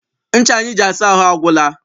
Ncha anyị ji asa ahụ agwụla.